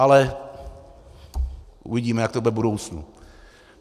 Ale uvidíme, jak to bude v budoucnu.